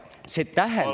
See tähendab …